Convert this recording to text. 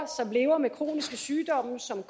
som lever med kroniske sygdomme som